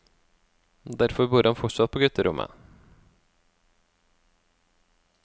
Derfor bor han fortsatt på gutterommet.